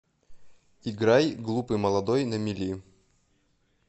играй глупый молодой на мели